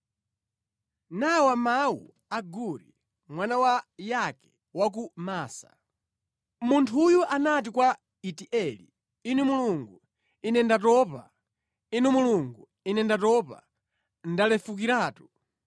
Nawa mawu a Aguri mwana wa Yake wa ku Masa: Munthuyo anati kwa Itieli, “Inu Mulungu, ine ndatopa. Inu Mulungu, ine ndatopa. Ndalefukiratu.